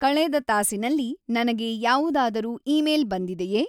ಕಳೆದ ತಾಸಿನಲ್ಲಿ ನನಗೆ ಯಾವುದಾದರೂ ಇಮೇಲ್ ಬಂದಿದೆಯೆ?